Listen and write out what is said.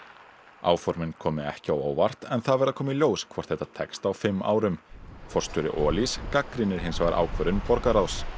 áformin komi ekki á óvart en það verði að koma í ljós hvort þetta tekst á fimm árum forstjóri Olís gagnrýnir hins vegar ákvörðun borgarráðs